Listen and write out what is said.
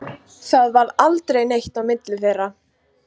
Það varð aldrei neitt á milli þeirra.